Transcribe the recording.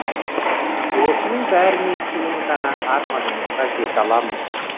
осының бәрінен кейін ғана арманыңызға жете аласыз